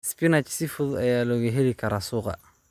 Spinach si fudud ayaa looga heli karaa suuqa.